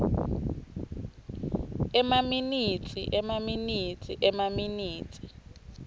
emaminitsi emaminitsi emaminitsi